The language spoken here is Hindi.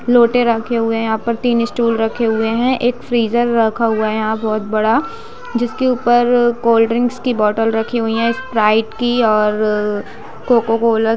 लोटे रखे हुए है यहाँ पर तीन स्टूल रखे हुए है एक फ्रीजर रखा हुआ है यहाँ बहुत बड़ा जिसके ऊपर कोल्ड ड्रिंक्स की बोतल रखी हुई है स्प्राइट की और कोका-कोला --